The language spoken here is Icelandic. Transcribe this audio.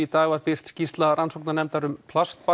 dag var birt skýrsla rannsóknarnefndar um